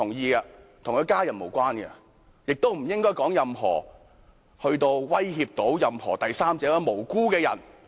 但事件與他的家人無關，亦不應發表任何言論威脅到第三者或無辜的人。